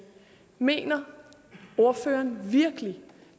mener ordføreren virkelig